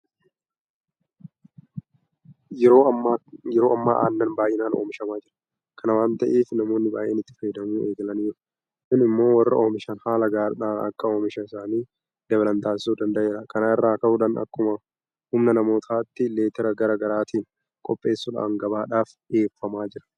Yeroo ammaa aannan baay'inaan oomishamaa jira. Kana waanta ta'eef namoonni baay'een itti fayyadamuu eegalaniiru. Kun immoo warri oomishan haala gaariidhaan akka oomisha isaanii dabalan taasisuu danda'eera. Kana irraa ka'uudhaan akkuma humna namootaatti leetira garaa garaatiin qopheessuudhaan gabaadhaaf dhiyeeffamaa jira.